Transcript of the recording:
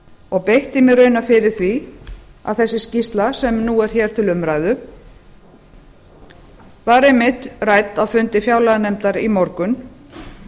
og beitti mér raunar fyrir því að þessi skýrsla sem nú er hér til umræðu var einmitt rædd á fundi fjárlaganefndar í morgun